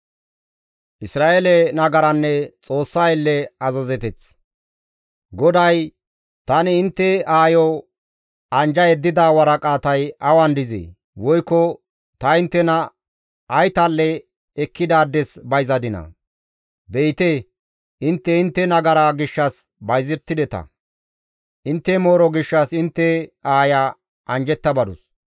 GODAY, «Tani intte aayo anjja yeddida waraqatay awan dizee? woykko ta inttena ay tal7a ekkidaades bayzadinaa? Be7ite intte intte nagara gishshas bayzettideta; intte mooro gishshas intte aaya anjjetta badus.